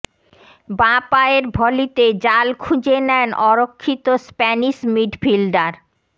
বাঁ পায়ের ভলিতে জাল খুঁজে নেন অরক্ষিত স্প্যানিশ মিডফিল্ডার